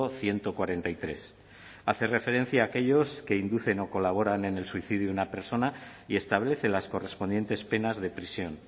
ciento cuarenta y tres hace referencia a aquellos que inducen o colaboran en el suicidio una persona y establece las correspondientes penas de prisión